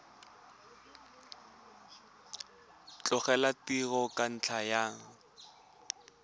tlogela tiro ka ntlha ya